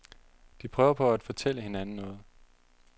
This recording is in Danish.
De prøver på at fortælle hinanden noget.